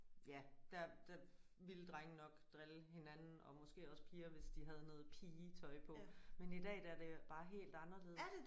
Ja der der ville drenge nok drille hinanden og måske også piger hvis de havde noget pigetøj på men i dag der er det bare helt anderledes